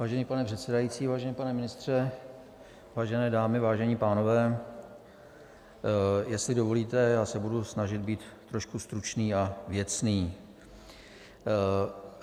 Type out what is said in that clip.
Vážený pane předsedající, vážený pane ministře, vážené dámy, vážení pánové, jestli dovolíte, já se budu snažit být trošku stručný a věcný.